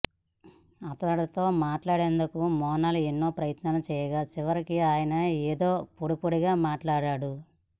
అతడితో మాట్లాడేందుకు మోనాల్ ఎన్నో ప్రయత్నాలు చేయగా చివరికి ఆయన ఏదో పొడిపొడిగా మాట్లాడాడు